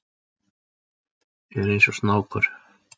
Er eins og snákur.